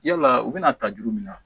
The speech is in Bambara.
Yala u bɛna ta juru min na